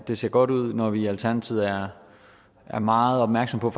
det så godt ud når vi i alternativet er er meget opmærksomme